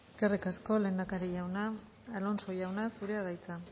eskerrik asko lehendakari jauna alonso jauna zurea da hitza